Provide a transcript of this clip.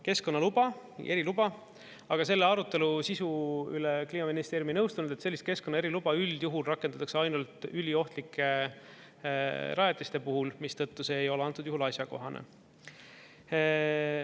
Keskkonnaluba, eriluba, aga selle arutelu sisu üle Kliimaministeerium ei nõustunud, et sellist keskkonna eriluba üldjuhul rakendatakse ainult üliohtlike rajatiste puhul, mistõttu see ei ole antud juhul asjakohane.